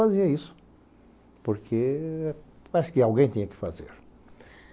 Fazia isso, porque parece que alguém tinha que fazer.